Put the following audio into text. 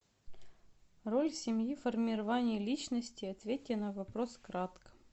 роль семьи в формировании личности ответьте на вопрос кратко